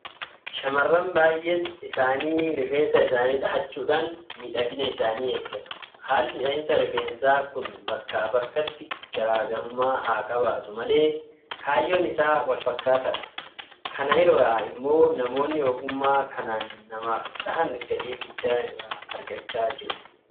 Shaamarran baay'een isaanii rifeensa isaanii dhahachuudhaan miidhagina isaanii eeggatu. Haalli dhahinsa rifeensaa kun bakkaa bakkatti garaa garummaa haa qabaatu malee kaayyoon isaa walfakkaataadha. Kana irraa immoo namoonni ogummaa kanaan namaaf dhahan galii guddaa irraa argachaa jiru.